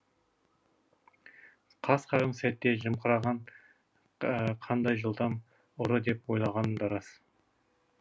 қас қағым сәтте жымқырған қандай жылдам ұры деп ойлағаным да рас